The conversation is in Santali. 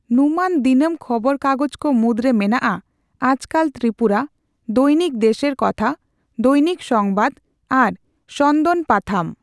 ᱧᱩᱢᱟᱱ ᱫᱤᱱᱟᱹᱢᱠᱷᱚᱵᱚᱨ ᱠᱟᱜᱚᱡ ᱠᱚ ᱢᱩᱫᱽᱨᱮ ᱢᱮᱱᱟᱜᱼᱟ ᱟᱡᱠᱟᱞ ᱛᱨᱤᱯᱩᱨᱟ, ᱫᱚᱭᱱᱤᱠ ᱫᱮᱥᱮᱨ ᱠᱚᱛᱷᱟ, ᱫᱚᱭᱱᱤᱠ ᱥᱚᱝᱵᱟᱫ ᱟᱨ ᱥᱚᱱᱫᱚᱱ ᱯᱟᱛᱷᱟᱢ ᱾